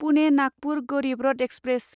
Pune Nagpur Garib Rath express